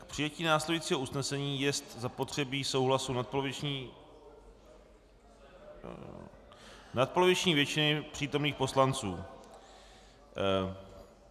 K přijetí následujícího usnesení jest zapotřebí souhlasu nadpoloviční většiny přítomných poslanců.